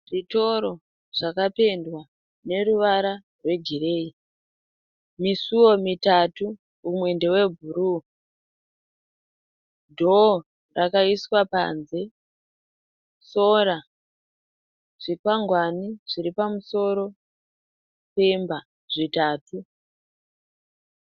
Zvitoro zvakapendwa neruvara rwegirei, misuwo mitatu umwe ndewebhuru, dhoo rakaiswa panze, sora, zvikwangwani zviripamusoro pemba zvitatu.